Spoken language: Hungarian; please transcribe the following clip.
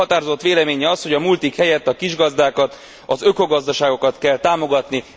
A Jobbik határozott véleménye az, hogy a multik helyett a kisgazdákat, az ökogazdaságokat kell támogatni.